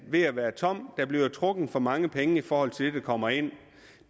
ved at være tom der bliver trukket for mange penge i forhold til det der kommer ind